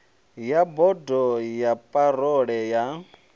wa bodo ya parole ya